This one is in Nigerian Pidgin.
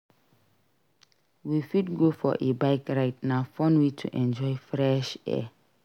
We fit go for a bike ride; na fun way to enjoy fresh air.